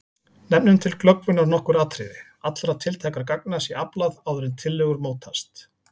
Nefnum til glöggvunar nokkur atriði: Allra tiltækra gagna sé aflað áður en tillögur mótast.